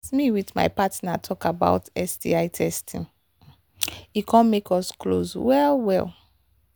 as me with my partner talk about sti testing e come make us close well well